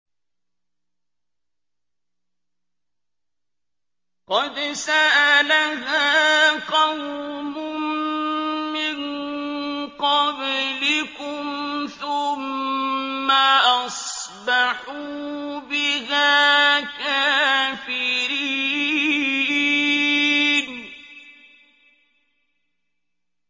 قَدْ سَأَلَهَا قَوْمٌ مِّن قَبْلِكُمْ ثُمَّ أَصْبَحُوا بِهَا كَافِرِينَ